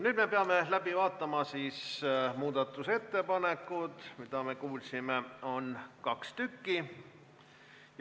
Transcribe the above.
Nüüd peame läbi vaatama muudatusettepanekud, mida on, nagu me kuulsime, kaks tükki.